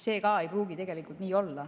See ei pruugi nii olla.